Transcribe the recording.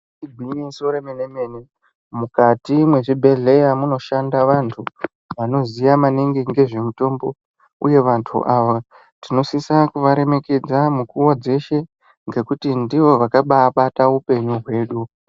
Igwinyiso remene-mene mukati mezvibhedhlera munoshanda vantu vanoziya maningi nezvemutombo uye vantu ava tinosise kuvaremekedza mukuwo, nguva dzeshe ngekuti ndivo vakabaabata upenyu hwedu.